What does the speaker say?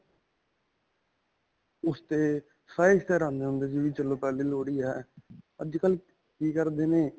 ਓਸ 'ਤੇ ਆਉਂਦੇ ਹੁੰਦੇ ਸੀ ਵੀ ਚਲੋ ਪਹਿਲੀ ਲੋਹੜੀ ਆ ਅੱਜਕਲ੍ਹ ਕੀ ਕਰਦੇ ਨੇ.